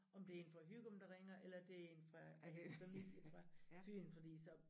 Om det en fra Hygum der ringer eller det en fra om det familie fra Fyn fordi så